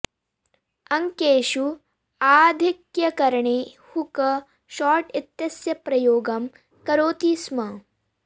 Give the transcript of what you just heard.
अङ्केषु आधिक्यकरणे hook shot इत्यस्य प्रयोगं करोति स्म